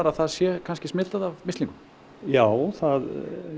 að það sé smitað af mislingum já það